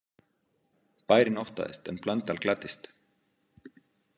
Bærinn óttaðist en Blöndal gladdist.